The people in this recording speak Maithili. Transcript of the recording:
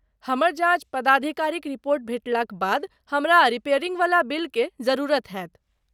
हमर जॉच पदाधिकारीक रिपोर्ट भेटलाक बाद हमरा रिपेयरिंग वला बिलके जरुरत हैत।